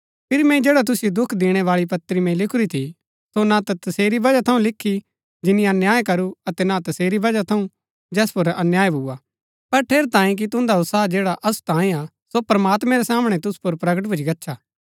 फिरी मैंई जैडा तुसिओ दुख दिणै बाळी पत्री मैंई लिखुरी थी सो ना ता तसेरी वजह थऊँ लिखु जिनी अन्याय करू अतै ना तसेरी वजह थऊँ जैस पुर अन्याय भूआ पर ठेरैतांये कि तुन्दा उत्साह जैडा असु तांयें हा सो प्रमात्मैं रै सामणै तुसु पुर प्रगट भूच्ची गच्छा